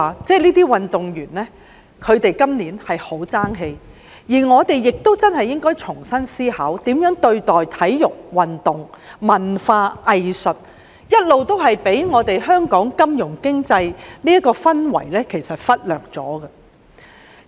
這些運動員今年真的很爭氣，我們要重新思考如何對待體育運動和文化藝術，這些一直被香港金融經濟這個氛圍忽略。